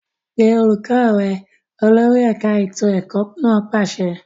Pe olùkọ́ rẹ! Olórí ẹ̀ka ètò ẹ̀kọ́ náà pàṣẹ.